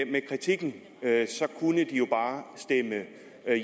kritikken kunne de jo bare stemme